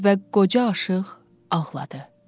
Və qoca aşiq ağladı.